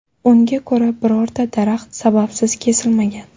Unga ko‘ra, birorta daraxt sababsiz kesilmagan.